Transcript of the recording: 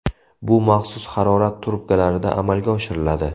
Bu maxsus harorat trubkalarida amalga oshiriladi.